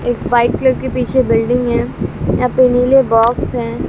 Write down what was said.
एक white colour की पीछे बिल्डिंग हैं यहां पे नीले बॉक्स हैं।